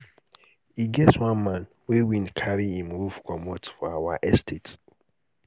e get one man wey wind carry im roof comot for our estate.